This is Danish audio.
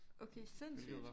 Okay sindssygt